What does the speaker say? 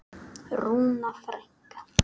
Rúna frænka.